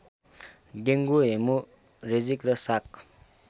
dengue haemorrhagic र शाक